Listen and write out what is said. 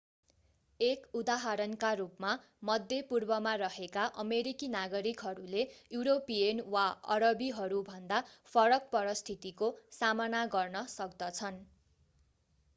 एक उदाहरणका रूपमा मध्य पूर्वमा रहेका अमेरिकी नागरिकहरूले युरोपियन वा अरबीहरूभन्दा फरक परिस्थितिको सामना गर्न सक्दछन्